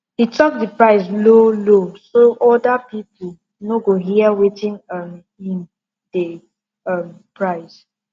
he talk the price lowlow so other people no go hear wetin um him dey um price